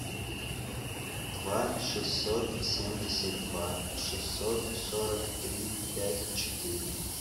два шестьсот семьдесят два шестьсот сорок три пять четыре